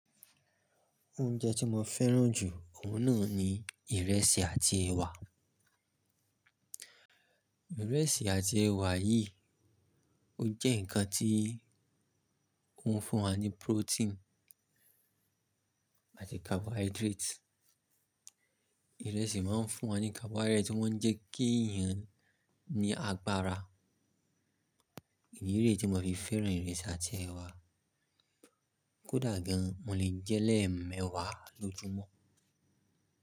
Oúnjẹ tí mo fẹ́ràn jù, òhun náà ni ìrẹsì àti ẹ̀wà. Ìrẹsì àti ẹ̀wà yìí, ó jẹ́ ǹkan tí ó ń fún wa ní protein àti carbohydrate. Ìrẹsì máa ń fún wa ní carbohydrate tí wọ́n ń jẹ́ kí èèyàn ní agbára. Èyí re tí mo fi fẹ́ràn ìrẹsì àti ẹ̀wà. Kódà gan, mo lè jẹ́ lẹ́ẹ̀mẹ́wàá lójúmọ́.